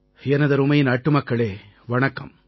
எனதருமை நாட்டுமக்களே வணக்கம்